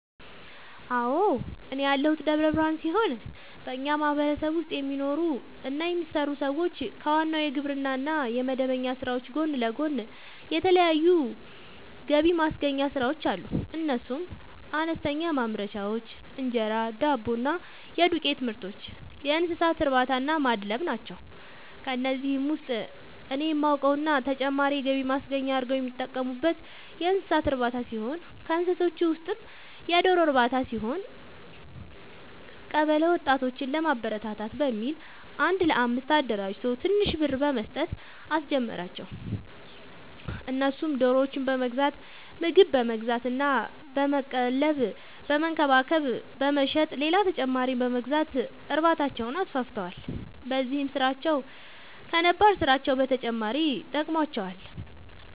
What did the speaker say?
አዎ፤ እኔ ያለሁት ደብረ ብርሃን ሲሆን በኛ ማህበረሰብ ውስጥ የሚኖሩ እና የሚሰሩ ሰዎች ከዋናው የግብርና እና የመደበኛ ስራዎች ጎን ለጎን የተለያዩ ገብማስገኛ ስራዎች አሉ፤ እነሱም፦ አነስተኛ ማምረቻዎች(እንጀራ፣ ዳቦ እና የዱቄትምርቶች)፣የእንሰሳትእርባታናማድለብ ናቸው። ከነዚህ ውስጥ እኔ የማውቀው እና ተጨማሪ የገቢ ማስገኛ አርገው የሚጠቀሙበት የእንሰሳት እርባታ ሲሆን ከእንስሳዎቹ ውስጥም የዶሮ ርባታ ሲሆን፤ ቀበለ ወጣቶችን ለማበረታታት በሚል አንድ ለአምስት አደራጅቶ ትንሽ ብር በመስጠት አስጀመራቸው እነሱም ዶሮዎችን በመግዛት ምግብ በመግዛት እና በመቀለብ በመንከባከብ በመሸጥ ሌላ ተጨማሪ በመግዛት እርባታቸውን አስፋፍተዋል። በዚህም ስራቸው ከነባር ስራቸው በተጨማሪ ጠቅሞዋቸዋል።